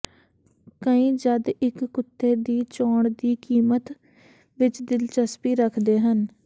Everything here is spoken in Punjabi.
ਕਈ ਜਦ ਇੱਕ ਕੁੱਤੇ ਦੀ ਚੋਣ ਦੀ ਕੀਮਤ ਵਿੱਚ ਦਿਲਚਸਪੀ ਰੱਖਦੇ ਹਨ